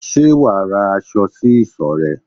Ṣé wà á ra aṣọ sí isọ̀ rẹ?